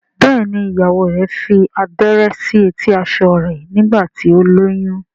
Béèni ìyàwó rẹ fí abẹrẹ sí eti aṣọ rẹ nígbà tí o lóyún.